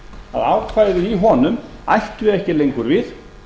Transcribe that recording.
að ákvæði í honum ættu ekki lengur við